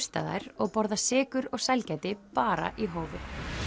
og borða sykur og sælgæti bara í hófi